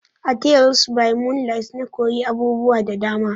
A "Teles by moonlight" na koyi abubuwa da dama.